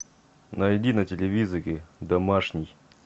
найди на телевизоре домашний